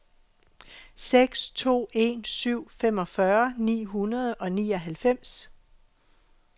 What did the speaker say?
seks to en syv femogfyrre ni hundrede og nioghalvfems